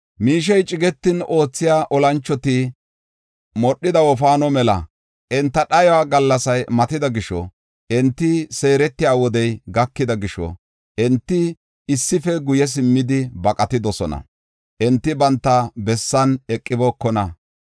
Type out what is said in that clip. Miishey cigetin oothiya olanchoti modhida wofaano mela. Enta dhayo gallasay matida gisho, enti seeretiya wodey gakida gisho, enti issife guye simmidi baqatidosona; enti banta bessan eqibookona.